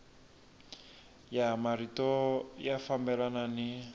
ya marito ya fambelana ni